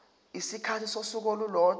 isikhathi sosuku olulodwa